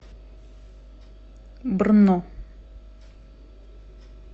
брно